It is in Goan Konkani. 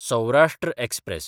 सौराश्ट्र एक्सप्रॅस